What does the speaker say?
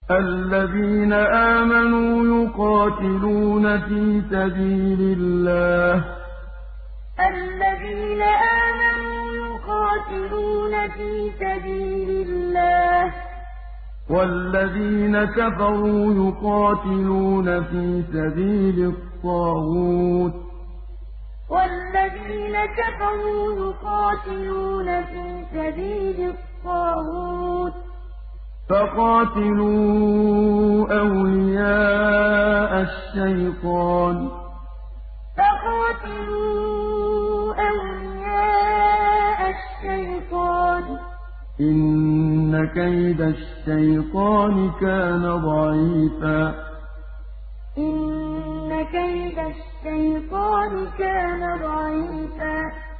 الَّذِينَ آمَنُوا يُقَاتِلُونَ فِي سَبِيلِ اللَّهِ ۖ وَالَّذِينَ كَفَرُوا يُقَاتِلُونَ فِي سَبِيلِ الطَّاغُوتِ فَقَاتِلُوا أَوْلِيَاءَ الشَّيْطَانِ ۖ إِنَّ كَيْدَ الشَّيْطَانِ كَانَ ضَعِيفًا الَّذِينَ آمَنُوا يُقَاتِلُونَ فِي سَبِيلِ اللَّهِ ۖ وَالَّذِينَ كَفَرُوا يُقَاتِلُونَ فِي سَبِيلِ الطَّاغُوتِ فَقَاتِلُوا أَوْلِيَاءَ الشَّيْطَانِ ۖ إِنَّ كَيْدَ الشَّيْطَانِ كَانَ ضَعِيفًا